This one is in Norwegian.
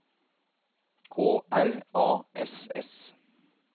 K R A S S